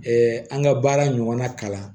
an ka baara ɲɔgɔnna kalan